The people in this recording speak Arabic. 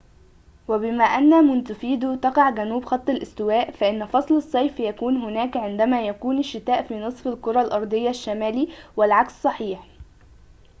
وبما أن مونتيفيديو تقع جنوب خط الاستواء فإن فصل الصيف يكون هناك عندما يكون الشتاء في نصف الكرة الأرضية الشمالي والعكس صحيح